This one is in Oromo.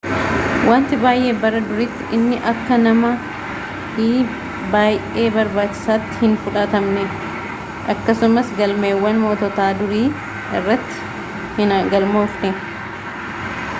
wanti baay'ee bara duriitti inni akka nama i baayee barbaachisaatti hin fudhatamne akkasumas galmeewwan moototaa durii irratti hin galmoofne